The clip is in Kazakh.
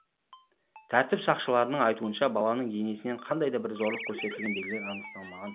тәртіп сақшыларының айтуынша баланың денесінен қандай да бір зорлық көрсетілген белгілер анықталмаған